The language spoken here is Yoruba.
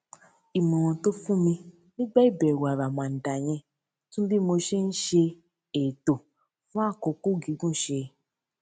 ìmòràn tó fún mi nígbà ìbèwò àràmàǹdà yẹn tún bí mo ṣe ń ṣe ètò fún àkókò gígùn ṣe